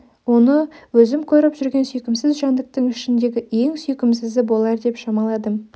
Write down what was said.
оны өзім көріп жүрген сүйкімсіз жәндіктің ішіндегі ең сүйкімсізі болар деп шамаладым